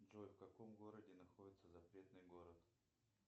джой в каком городе находится запретный город